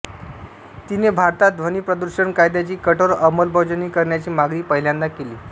तिने भारतात ध्वनी प्रदूषण कायद्याची कठोर अंमलबजावणी करण्याची मागणी पहिल्यांदा केली